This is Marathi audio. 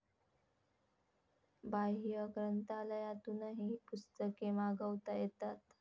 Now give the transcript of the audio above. बाह्य ग्रंथालयातूनही पुस्तके मागवता येतात